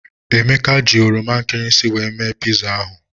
Emeka ji oroma nkịrịsị wee mee piza ahụ.